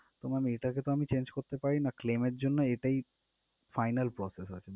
তো ma'am এটাকে তো আমি change করতে পারি না claim এর জন্য এটাই final process আসলে